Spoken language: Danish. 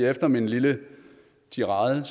efter min lille tirade er